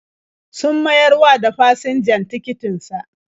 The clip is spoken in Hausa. Sun mayar wa da fasinjan tikitin sa.